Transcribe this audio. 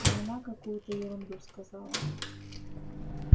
а она какуюто ерунду сказала